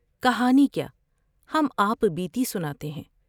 کہانی کیا ہم آپ بیتی سناتے ہیں ۔